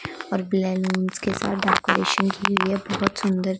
और ब्लेलेंस के साथ डेकोरेशन की हुई है बहोत सुंदर--